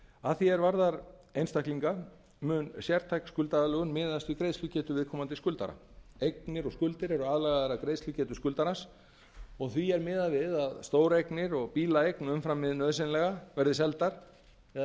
að því er varðar einstaklinga mun sértæk skuldaaðlögun miðast við greiðslugetu viðkomandi skuldara eignir og skuldir eru aðlagaðar að greiðslugetu skuldarans og því er miðað við að stóreignir og bílaeign umfram hið nauðsynlega verði seldar eða